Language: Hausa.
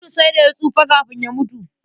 Audu sai da ya tsufa kafin ya mutu.